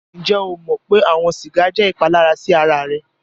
Ǹjẹ o mọ̀ pé awọn sígà jẹ́ ìpàlàrà sí ara rẹ̀?